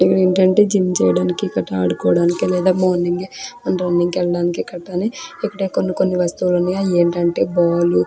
ఇక్కడ ఏంటంటే జిమ్ చేయడానికి గట్రా ఆడుకోవడానికి లేదా మార్నింగ్ ఏయ్ మనం రన్నింగ్ కి వెళ్ళడానికి గట్రని ఇక్కడ కొన్ని కొన్ని వస్తువులు ఉన్నాయి. అవి ఏంటంటే బాలు --